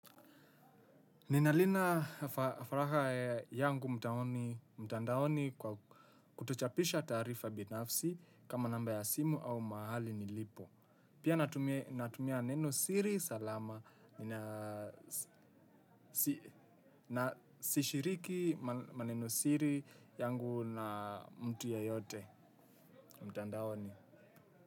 Nina linda faragha yangu mtandaoni kutochapisha taarifa binafsi kama namba ya simu au mahali nilipo. Pia natumia neno siri salama, na sishiriki maneno siri yangu na mtu yeyote mtandaoni.